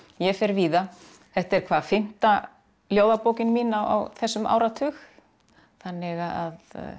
ég fer víða þetta er hvað fimmta ljóðabókin mín á þessum áratug þannig að